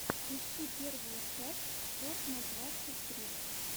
ищи первую часть все на двадцать три